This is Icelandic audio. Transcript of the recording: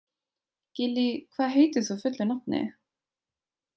Gillý, hvað heitir þú fullu nafni?